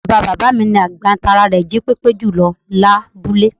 Bàbáa bàbá mi ni àgbà tára rè jípépé jùlọ lábúlé